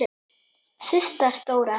Systa stóra!